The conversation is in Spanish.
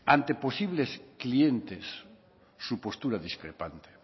ante posibles clientes su postura discrepante